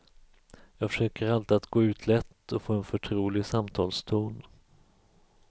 Jag försöker alltid att gå ut lätt och få en förtrolig samtalston.